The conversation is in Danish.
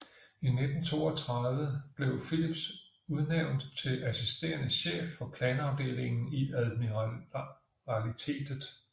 I 1932 blev Phillips udnvænt til assisterende chef for planafdelingen i admiralitetet